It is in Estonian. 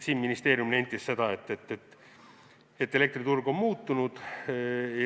Ministeerium nentis, et elektriturg on muutunud.